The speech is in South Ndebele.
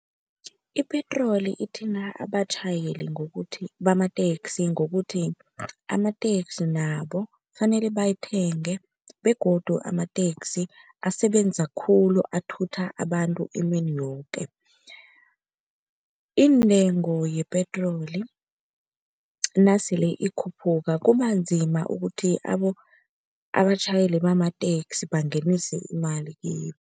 Ipetroli ithinta abatjhayeli ngokuthi bamateksi ngokuthi amateksi nabo kufanele bayithenge begodu amateksi asebenza khulu, athutha abantu emini yoke. Iintengo yepetroli nasele ikhuphuka kubanzima ukuthi abatjhayeli bamateksi bangenise imali kibo.